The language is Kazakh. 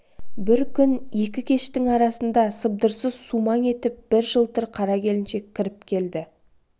бір күн екі кештң арасында сыбдырсыз сумаң етіп бір жылтыр қара келіншек кіріп келді